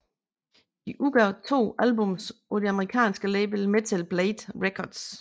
De udgav to albums på det amerikanske label Metal Blade Records